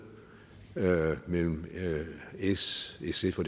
mellem s sf og